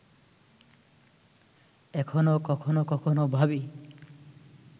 এখনো কখনো কখনো ভাবি